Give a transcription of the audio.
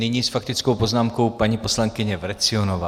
Nyní s faktickou poznámkou paní poslankyně Vrecionová.